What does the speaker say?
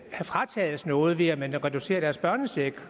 fratages noget ved at man reducerer deres børnecheck